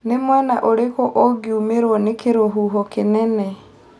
nĩ mwena ũrikũ ũngũmĩrwo nĩ kĩrũhuho kĩnene